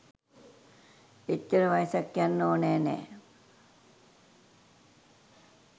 එච්චර වයසක් යන්න ඕන නෑ.